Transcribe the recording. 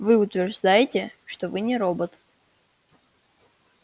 вы утверждаете что вы не робот